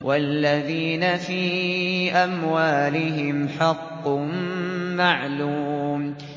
وَالَّذِينَ فِي أَمْوَالِهِمْ حَقٌّ مَّعْلُومٌ